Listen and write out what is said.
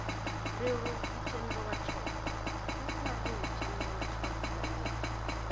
Riwruok gi Chenro Machon: Pek mag riwo chenro machon gi manyien.